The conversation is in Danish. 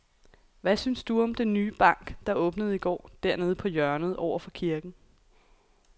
Hvad synes du om den nye bank, der åbnede i går dernede på hjørnet over for kirken?